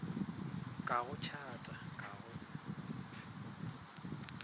ka go tšhata ka go